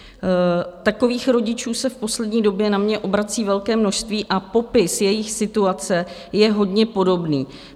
Takových rodičů se v poslední době na mě obrací velké množství a popis jejich situace je hodně podobný.